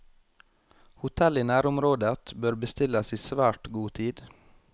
Hotell i nærområdet bør bestilles i svært god tid.